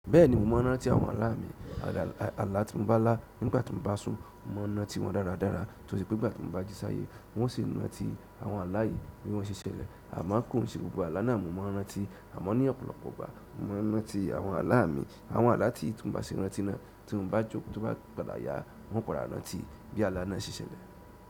Bẹ́ẹ̀ni mo mọ n rántí àwọn aalá mi, ààlà tí mo bá lá nígbà tí mo bá sùn, mo mọ n nati wọn dáradára tose pé nígbà tí mo bá jí sáyé wọn ó ṣi nàti àwọn aalá yìí bí wọ́n ṣe ṣẹlẹ̀. Amo kò i ṣe gbogbo aalá náà mo maa n rántí amọ ní ọ̀pọ̀lọpọ̀ ìgbà, mo maa n rántí àwọn aalá mi, àwọn aalá tí tì mio bá ṣi bà si rántí náà, tí mo bá jókòó tóbá si padà yà hun o padà rántí bí aalá náà ṣe ṣẹlẹ̀.